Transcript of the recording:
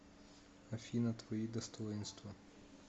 афина твои достоинства